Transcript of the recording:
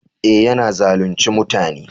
Eh, ya na zalunce mutane.